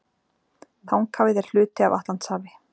Þanghafið er hluti af Atlantshafi.